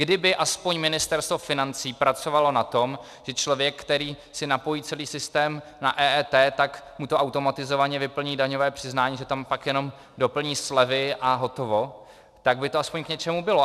Kdyby aspoň Ministerstvo financí pracovalo na tom, že člověk, který si napojí celý systém na EET, tak mu to automatizovaně vyplní daňové přiznání, že tam pak jenom doplní slevy a hotovo, tak by to aspoň k něčemu bylo.